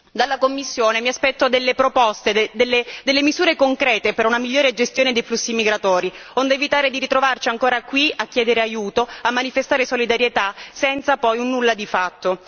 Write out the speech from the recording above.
Dalla Commissione mi aspetto delle proposte, delle misure concrete per una migliore gestione dei flussi migratori, onde evitare di ritrovarci ancora qui a chiedere aiuto, a manifestare solidarietà, senza poi un nulla di fatto.